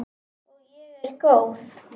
Og ég er góð.